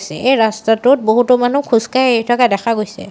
এই ৰাস্তাটোত বহুতো মানুহ খোজকাঢ়ি আহি থকা দেখা গৈছে।